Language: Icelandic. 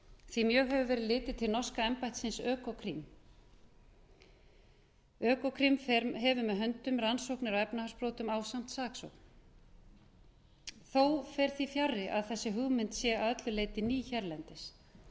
því mjög hefur verið litið til norska embættisins økokrim ökoprim hefur með höndum rannsóknir á efnahagsbrotum ásamt saksókn þó fer því fjarri að þessi hugmynd sé að öllu leyti ný hérlendis